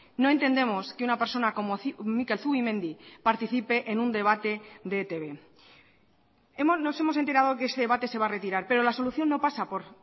no entendemos que una persona como mikel zubimendi participe en un debate de etb nos hemos enterado que este debate se va a retirar pero la solución no pasa por